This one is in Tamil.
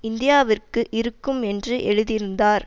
இந்தியாவிற்கு இருக்கும் என்று எழுதியிருந்தார்